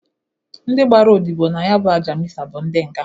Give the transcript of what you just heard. Ndị gbara odibo na ya bụ Aja Mịsa bụ ndị nga.